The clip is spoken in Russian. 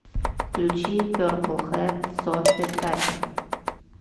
включи перпл хэт софи таккер